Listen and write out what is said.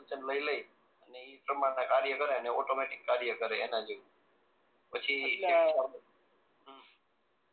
લઈ લે અને એ પ્રમાણે કાર્ય કરાય ને ઓટોમેટીક કાર્ય કરે એના જેવું પછી હમ્મ